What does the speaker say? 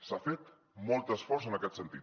s’ha fet molt esforç en aquest sentit